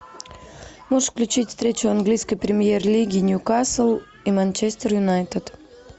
можешь включить встречу английской премьер лиги ньюкасл и манчестер юнайтед